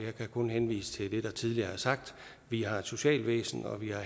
kan kun henvise til det der tidligere er sagt vi har et socialvæsen og vi har